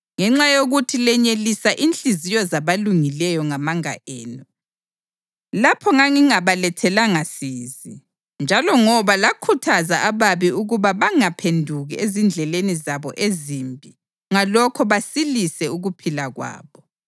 Ngenxa yokuthi lenyelisa inhliziyo zabalungileyo ngamanga enu, lapho ngangingabalethelanga sizi, njalo ngoba lakhuthaza ababi ukuba bangaphenduki ezindleleni zabo ezimbi ngalokho basilise ukuphila kwabo,